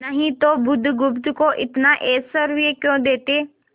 नहीं तो बुधगुप्त को इतना ऐश्वर्य क्यों देते